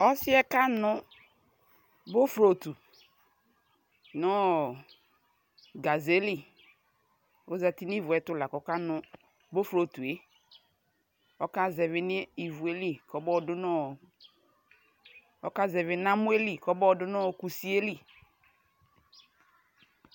Ɔsiɛ kanu borotu nɔɔ gaʒe li Ɔzati niʋʋɛtu lakɔkanu bofrotueƆkazɛvɛ niʋueli kɔmɔdunɔɔ ɔkaʒɛvi namɔɛli kɔmɔɔdunu kusieli